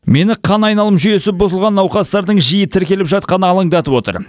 мені қан айналым жүйесі бұзылған науқастардың жиі тіркеліп жатқаны алаңдатып отыр